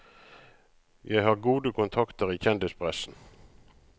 Jeg har gode kontakter i kjendispressen.